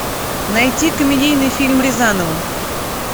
найти комедийный фильм рязанова